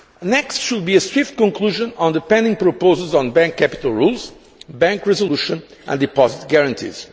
Next should be a swift conclusion on the pending proposals on bank capital rules, bank resolution and deposit guarantees.